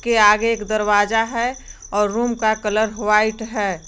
के आगे एक दरवाजा है और रूम का कलर व्हाइट है।